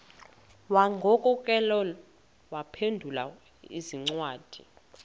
wagokelela abaphengululi zincwadi